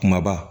Kumaba